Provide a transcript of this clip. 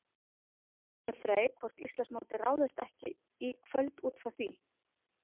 Við spurðum Frey hvort Íslandsmótið ráðist ekki í kvöld útfrá því?